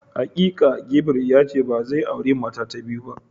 Hakika Gabriel yace bazai auri mata ta biyu ba.